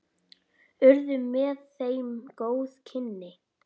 Urðu með þeim góð kynni.